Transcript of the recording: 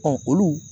olu